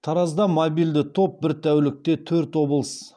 таразда мобильді топ бір тәулікте төрт облыс